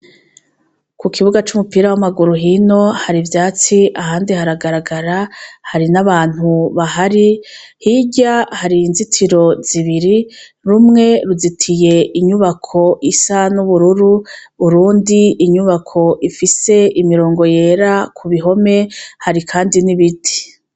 Ku kibuga c' umupira w' amaguru hino hari ivyatsi ahandi haragaragara hari n' abantu bahari hirya hari inzitiro zibiri rumwe ruzitiye inyubako isa n' ubururu urundi inyubako ifise imirongo yera ku bihome hari kandi n' ibiti.